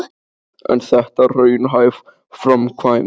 En er þetta raunhæf framkvæmd?